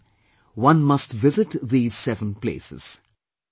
If possible, one must visit these seven places